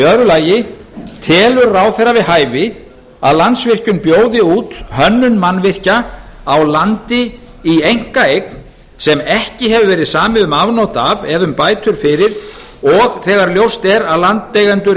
heimamanna annar telur ráðherra við hæfi að landsvirkjun bjóði út hönnun mannvirkja á landi í einkaeign sem ekki hefur verið samið um afnot af eða um bætur fyrir og þegar ljóst er að landeigendur